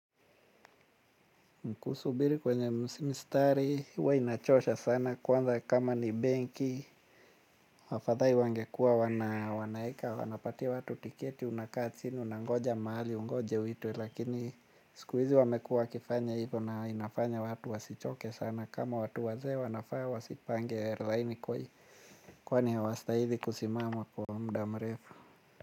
Kusubiri kwenye mstari, huwa inachosha sana, kwanza kama ni benki, afadhali wangekuwa wanaeka, wanapatia watu tiketi, unakaa chini unangoja mahali, ungoje uitwe, lakini siku hizi wamekuwa wakifanya hivyo na inafanya watu wasichoke sana, kama watu wazee wanafaa wasipange laini kwani hawastahili kusimama kwa muda mrefu.